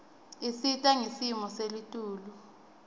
isita ngesimo selitulu